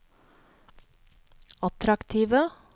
attraktive